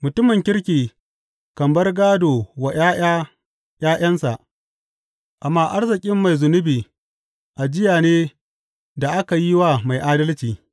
Mutumin kirki kan bar gādo wa ’ya’ya ’ya’yansa, amma arzikin mai zunubi ajiye ne da aka yi wa mai adalci.